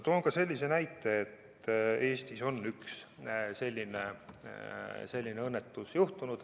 Toon sellise näite, et Eestis on üks selline õnnetus juhtunud.